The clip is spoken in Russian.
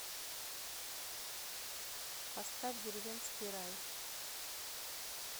поставь деревенский рай